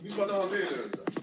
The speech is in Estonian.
Mis ma tahan veel öelda?